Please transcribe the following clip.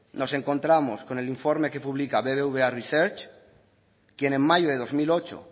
nos encontramos con el informe que publica bbva research quien en mayo